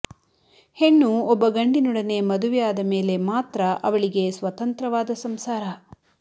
ಹೆಣ್ಣು ಒಬ್ಬ ಗಂಡಿನೊಡನೆ ಮದುವೆಯಾದ ಮೇಲೆ ಮಾತ್ರ ಅವಳಿಗೆ ಸ್ವತಂತ್ರವಾದ ಸಂಸಾರ